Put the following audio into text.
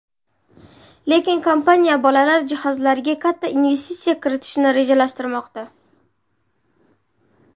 Lekin kompaniya bolalar jihozlariga katta investitsiya kiritishni rejalashtirmoqda.